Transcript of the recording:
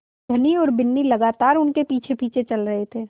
धनी और बिन्नी लगातार उनके पीछेपीछे चल रहे थे